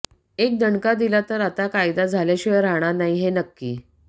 एक दणका दिला तर आता कायदा झाल्याशिवाय राहणार नाही हे नक्की